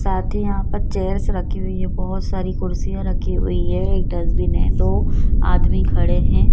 साथ ही यहाँ पर चेयर्स रखी हुई है बहोत सारी कुर्सियाँ रखी हुई है एक डस्टबिन है दो आदमी खड़े हैं।